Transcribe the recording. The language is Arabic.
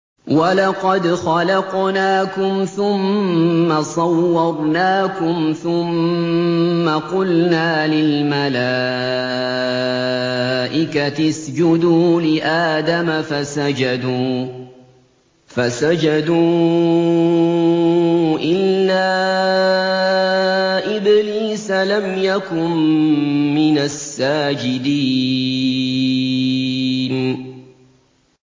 وَلَقَدْ خَلَقْنَاكُمْ ثُمَّ صَوَّرْنَاكُمْ ثُمَّ قُلْنَا لِلْمَلَائِكَةِ اسْجُدُوا لِآدَمَ فَسَجَدُوا إِلَّا إِبْلِيسَ لَمْ يَكُن مِّنَ السَّاجِدِينَ